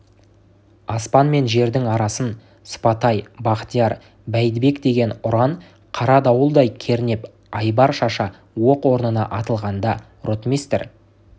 аспан мен жердің арасын сыпатай бахтияр бәйдібек деген ұран қара дауылдай кернеп айбар шаша оқ орнына атылғанда ротмистр